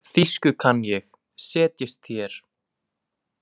Þýsku kann ég, setjist þér.